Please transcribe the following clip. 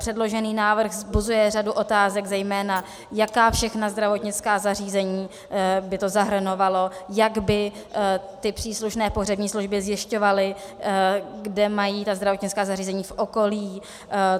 Předložený návrh vzbuzuje řadu otázek, zejména jaká všechna zdravotnická zařízení by to zahrnovalo, jak by ty příslušné pohřební služby zjišťovaly, kde mají ta zdravotnická zařízení v okolí.